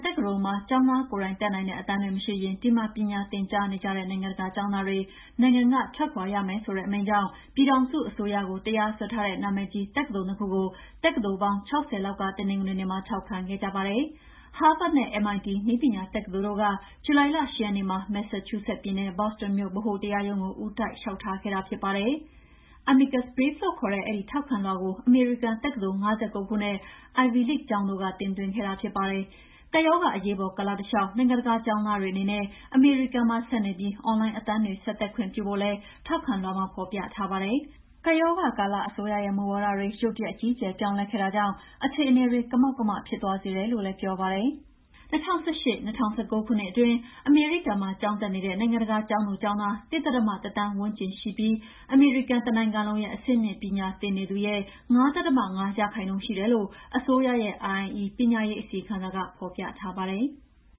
တက္ကသိုလ်တွေမှာ လူကိုယ်တိုင်တက်နိုင်တဲ့ အတန်းတွေ မရှိရင် ဒီမှာ ပညာသင်ကြားနေတဲ့ နိုင်ငံတကာကျောင်းသားတွေနိုင်ငံက ထွက်ခွါရမယ်ဆိုတဲ့ အမိန့်ကြောင့် ပြည်ထောင်စုအစိုးရကို တရာစွဲထားတဲ့ နာမည်ကြီး တက္ကသိုလ် ၂ ခုကို တက္ကသိုလ်ပေါင်း ၆၀ လောက်က တနင်္ဂနွေနေ့က ထောက်ခံခဲ့ကြပါတယ်။ ဟားဗတ်နဲ့ MIT နည်းပညာတက္ကသိုလ်တို့က ဇူလိုင်လ ၈ ရက်နေ့မှာ မက်ဆာချူးဆက်ပြည်နယ်၊ ဘောစတွန်မြို့ ဗဟိုတရားရုံးကို ဦးတိုက်လေ ျှာက်ထားခဲ့တာဖြစ်ပါတယ်။ Amicus Brief လို့ခေါ်တဲ့ အဲဒီထောက်ခံလွှာကို အမေရိကန်တက္ကသိုလ် ၅၉ ခုနဲ့ Ivy League ကျောင်းတို့က တင်သွင်းခဲ့တာဖြစ်ပါတယ်။ ကပ်ရောဂါအရေးပေါ်ကာလတလေ ျှ ာက် နိုင်ငံတကာကျောင်းသားတွေအနေနဲ့ အမေရိကန်မှာဆက်နေပြီး အွန်လိုင်းအတန်းတွေ ဆက်တက်ခွင့်ပြုဖို့လည်း ထောက်ခံလွှာမှာဖော်ပြထားတာပါ။ ကပ်ရောဂါကာလမှာ အစိုးရရဲ့ မူဝါဒတွေ ရုတ်တရက်အကြီးအကျယ်ပြောင်းလဲခဲ့တာကြောင့် အခြေအနေတွေ ကမောက်ကမ ဖြစ်သွားစေတယ်လို့လည်း ပြောပါတယ်။ ၂၀၁၈-၂၀၁၉ ခုနှစ် အတွင်း အမေရိကန်မှာကျောင်းတက်နေတဲ့ နိုင်ငံတကာကျောင်းသူကျောင်းသား ၁.၁ သန်းဝန်းကျင်ရှိတယ်ပြီး အမေရိကန်တနိုင်ငံလုံးရဲ့ အဆင့်မြင့်ပညာသင်နေသူရဲ့ ၅.၅ ရာခိုင်နှုန်း ရှိတယ်လို့ အစိုးရရဲ့ (IIE) ပညာရေး အစီရင်ခံစာကဖော်ပြပါတယ်။